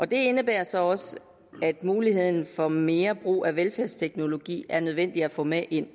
det indebærer så også at muligheden for mere brug af velfærdsteknologi er nødvendigt at få med ind